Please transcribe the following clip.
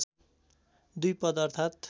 २ पद्म अर्थात्